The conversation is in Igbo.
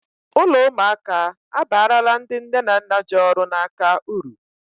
Ụlọ ụmụaka abarala ndị nne na nna ji ọrụ n'aka uru